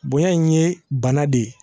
Bonya in ye bana de ye